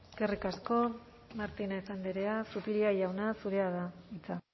eskerrik asko martínez andrea zupiria jauna zurea da hitza